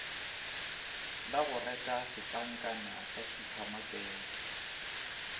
la goreka setlankana sa supamakete